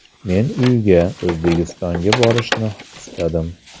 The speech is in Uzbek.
Men uyga – O‘zbekistonga borishni istadim.